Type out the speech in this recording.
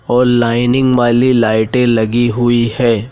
और लाइनिंग वाली लाइटे लगी हुई है।